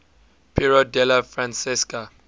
piero della francesca